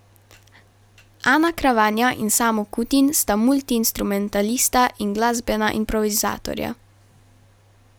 Ana Kravanja in Samo Kutin sta multiinstrumentalista in glasbena improvizatorja.